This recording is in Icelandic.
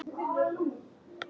Karen: Bíður eftir næsta?